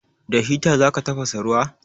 Da hita za ka tafasa ruwa?